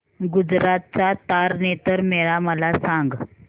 गुजरात चा तारनेतर मेळा मला सांग